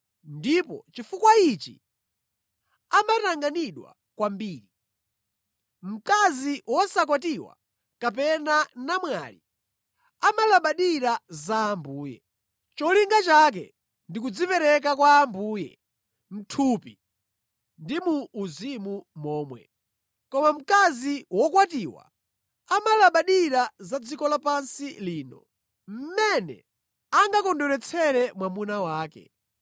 ndipo chifukwa ichi amatanganidwa kwambiri. Mkazi wosakwatiwa kapena namwali, amalabadira za Ambuye. Cholinga chake ndi kudzipereka kwa Ambuye mʼthupi ndi mu uzimu momwe. Koma mkazi wokwatiwa amalabadira za dziko lapansi lino, mmene angakondweretsere mwamuna wake.